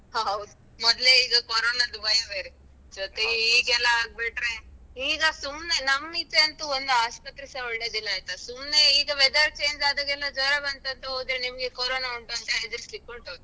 ಹ ಹೌದು ಮೊದ್ಲೇ ಈಗ ಕೊರೊನದ್ದೂ ಭಯ ಬೇರೆ ಜೊತೆಗೆ ಈಗೆಲ್ಲಾ ಆಗ್ಬಿಟ್ರೆ ಈಗ ಸುಮ್ನೆ ನಮ್ಮೀಚೆಯಂತೂ ಒಂದು ಆಸ್ಪತ್ರೇಸ ಒಳ್ಳೆದಿಲ್ಲ ಆಯ್ತಾ, ಸುಮ್ನೆ ಈಗ weather change ಆದಾಗೆಲ್ಲಾ ಜ್ವರ ಬಂತಂತ ಹೋದ್ರೆ, ನಿಮ್ಗೆ ಕೊರೋನ ಉಂಟು ಅಂತ ಹೇಳಿ ಹೆದ್ರಿಸಲಿಕ್ಕುಂಟು. ಹಾಗೆ ಸ್ವಲ್ಪ